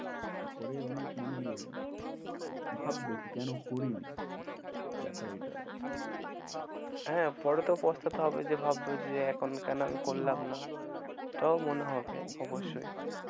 পরে অনেক মানে ভাববে কি কেন করিনি ব্যপার এটা। হ্যাঁ পরে তো পোস্তাতে হবে যে ভাববো যে এখন কেন আমি করলাম না এটাও মনে হবে অবশ্যই।